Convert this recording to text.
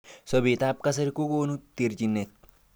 Sabet ab kasari kokonu terjinet.